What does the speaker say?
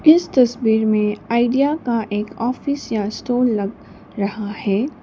इस तस्वीर में आइडिया का एक ऑफिस या स्टोर लग रहा है।